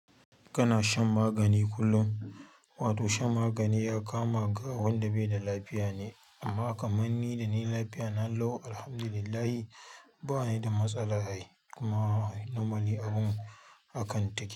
Kana shan magani kullum? Wato shan magani ya kama ga wanda bai da lafiya ne. Amma kamar ni da ni lafiya na lau Alhamdulillah bani da matsala ai kuma normally abun haka take.